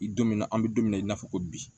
I don min na an bɛ don min na i n'a fɔ ko bi